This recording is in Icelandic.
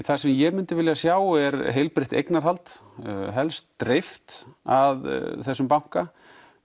það sem ég myndi vilja sjá er heilbrigt eignahald helst dreift af þessum banka